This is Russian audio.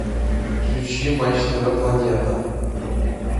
включи матч тв планета